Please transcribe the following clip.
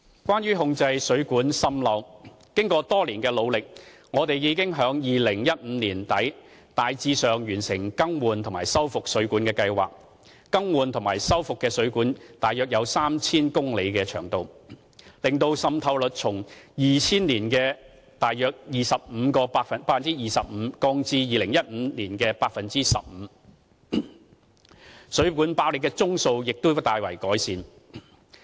關於控制水管滲漏，經過多年的努力，我們已於2015年年底大致完成"更換及修復水管計劃"，更換及修復的水管的長度約有 3,000 公里，使滲漏率從2000年約 25% 降至2015年約 15%； 水管爆裂的宗數亦已大為減少。